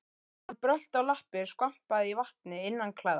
Þegar hann brölti á lappir skvampaði í vatni innanklæða.